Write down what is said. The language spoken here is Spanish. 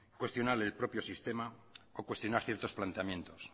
cuestionar el propio sistema o cuestionar ciertos planteamientos